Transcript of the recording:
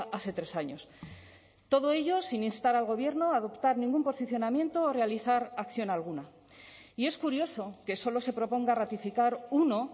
hace tres años todo ello sin instar al gobierno a adoptar ningún posicionamiento o realizar acción alguna y es curioso que solo se proponga ratificar uno